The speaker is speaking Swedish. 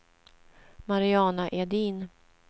Mariana Edin